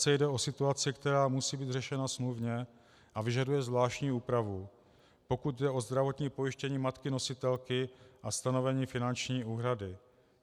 c) Jde o situaci, která musí být řešena smluvně a vyžaduje zvláštní úpravu, pokud jde o zdravotní pojištění matky nositelky a stanovení finanční úhrady.